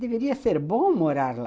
Deveria ser bom morar lá.